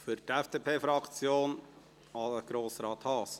Für die FDP-Fraktion: Grossrat Haas.